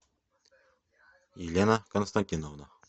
елена константиновна